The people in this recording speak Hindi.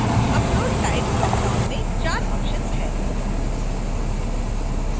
upload type ड्रॉपडाउन में 4 options हैं